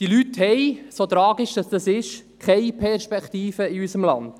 Diese Leute haben, so tragisch es auch ist, keine Perspektive in unserem Land.